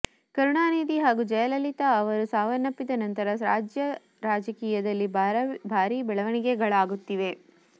ಕರುಣಾನಿಧಿ ಹಾಗೂ ಜಯಲಲಿತಾ ಅವರು ಸಾವನ್ನಪ್ಪಿದ ನಂತರ ರಾಜ್ಯ ರಾಜಕೀಯದಲ್ಲಿ ಭಾರೀ ಬೆಳವಣಿಗೆಗಳಾಗುತ್ತಿವೆ